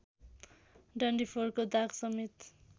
डन्डीफोरको दागसमेत